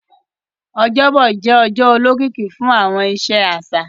Ọjọ́bọ̀ jẹ́ ọjọ́ olókìkí fún àwọn iṣẹ́ àṣà